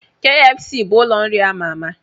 Kfc bụ ụlọ nri ama ama